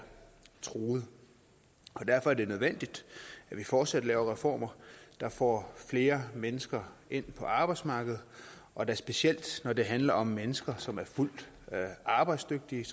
truet og derfor er det nødvendigt at vi fortsat laver reformer der får flere mennesker ind på arbejdsmarkedet og da specielt når det handler om mennesker som er fuldt arbejdsdygtige